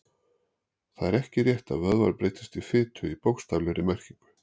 Það er ekki rétt að vöðvarnir breytist í fitu í bókstaflegri merkingu.